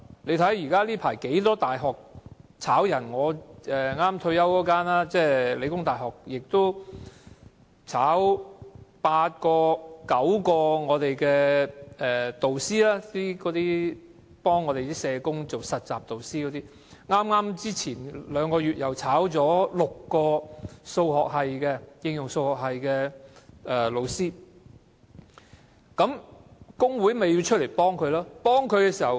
最近便有多間大學解僱職員，例如我退休前任教的香港理工大學，便解僱了八九名幫社工學生做實習的導師，前兩個月又解僱了6名應用數學系的導師，工會出來幫助他們。